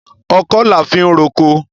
Ọkọ́ la fi ń roko.